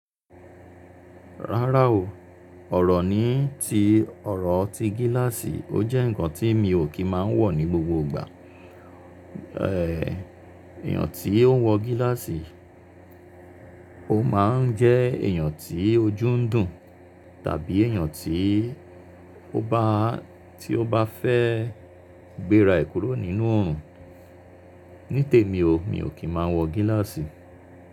Rárá o, ọ̀rọ̀ ni tí ọ̀rọ̀ ti gíláàsì, ó jẹ́ ǹkan tí mi ò kí máa ń wọ̀ ní gbogbo ìgbà. Èèyàn tí ó ń wọ gíláàsì, ó máa ń jẹ́ èèyàn tí ojú ń dùn tàbí èèyàn tí ó bá, tí ó bá fẹ́ gbéra ìkúrò nínú òòrùn. Ní te mi o, mi ò kí máa ń wọ gíláàsì.